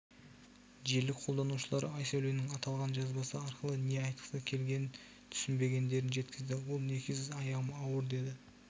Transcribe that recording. желі қолданушылары айсәуленің аталған жазбасы арқылы не айтқысы келгенін түсіебегендерін жеткізді ол некесіз аяғым ауыр деді